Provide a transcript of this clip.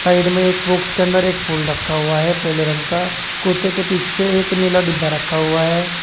Side में एक box के अन्दर एक फूल रखा हुआ है पीले रंग का कुत्ते के पीछे एक नीला डब्बा रखा हुआ है।